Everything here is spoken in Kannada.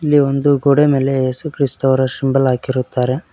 ಈ ಒಂದು ಗೋಡೆ ಮೇಲೆ ಯೇಸುಕ್ರಿಸ್ತ ಅವರ ಶಿಂಬಲ್ ಹಾಕಿರುತ್ತಾರೆ.